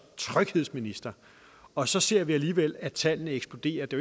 tryghedsminister og så ser vi alligevel at tallene eksploderer det